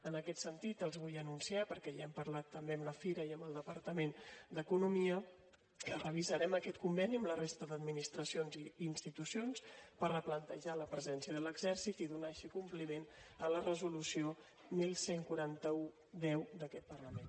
en aquest sentit els vull anunciar perquè ja hem parlat també amb la fira i amb el departament d’economia que revisarem aquest conveni amb la resta d’administracions i institucions per replantejar la presència de l’exèrcit i donar així compliment a la resolució onze quaranta u x d’aquest parlament